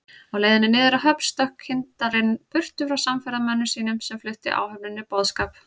Á leiðinni niður að höfn stökk kyndarinn burtu frá samferðamönnum sínum, sem fluttu áhöfninni boðskap